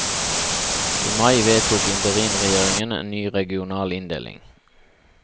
I mai vedtok interimregjeringen en ny regional inndeling.